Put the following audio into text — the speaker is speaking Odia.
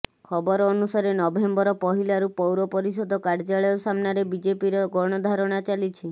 ଖବର ଅନୁସାରେ ନଭେମ୍ବର ପହିଲାରୁ ପୌରପରିଷଦ କାର୍ଯ୍ୟାଳୟ ସାମ୍ନାରେ ବିଜେପିର ଗଣଧାରଣା ଚାଲିଛି